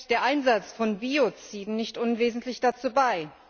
Der Einsatz von Bioziden trägt nicht unwesentlich dazu bei.